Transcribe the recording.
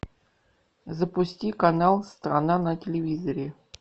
запусти канал страна на телевизоре